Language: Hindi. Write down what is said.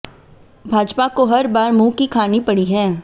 भाजपा को हर बार मुंह की खानी पड़ी है